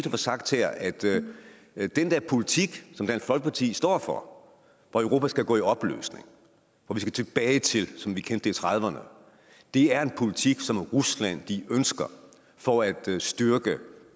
at få sagt her at at den der politik som dansk folkeparti står for hvor europa skal gå i opløsning hvor vi skal tilbage til det som vi kendte i nitten trediverne er en politik som rusland ønsker for at styrke